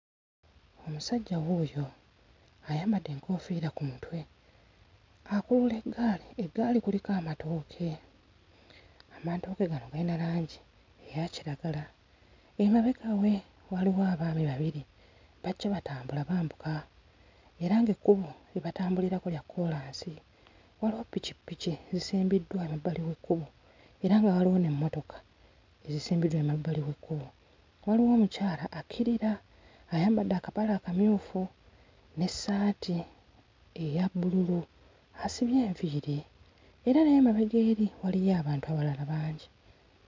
Omusajja wuuyo, ayambadde enkoofiira ku mutwe akulula eggaali. Eggaali kuliko amatooke, amatooke gano galina langi eya kiragala. Emabega we waliwo abaami babiri bajja batambula bambuka era ng'ekkubo lye batambulirako kya kkoolansi. Waliwo pikipiki ezisimbiddwa emabbali w'ekkubo era nga waliwo n'emmotoka ezisimbiddwa emabbali w'ekkubo. Waliwo omukyala akkirira, ayambadde akapale akamyufu n'essaati eya bbululu, asibye enviiri era n'emabega eri waliyo abantu abalala bangi.